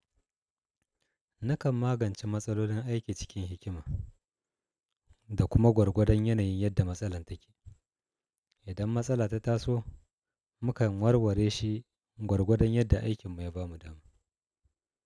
Nakan magance matsalolin aiki cikin hikima da kuma gwargwadon yanayin yadda matsalar take. Idan matsala ta taso, mukan warware shi gwargwadon yadda aikin mu ya ba mu dama.